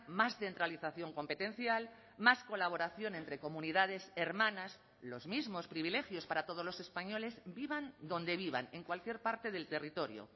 más centralización competencial más colaboración entre comunidades hermanas los mismos privilegios para todos los españoles vivan donde vivan en cualquier parte del territorio